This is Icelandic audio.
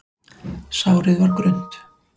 Sárið var grunnt.